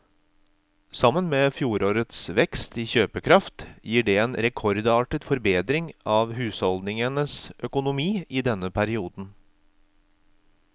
Sammen med fjorårets vekst i kjøpekraft gir det en rekordartet forbedring av husholdningenes økonomi i denne perioden.